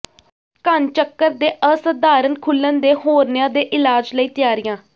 ਘਣਚੱਕਰ ਦੇ ਅਸਾਧਾਰਣ ਖੁੱਲਣ ਦੇ ਹੌਰਨੀਆ ਦੇ ਇਲਾਜ ਲਈ ਤਿਆਰੀਆਂ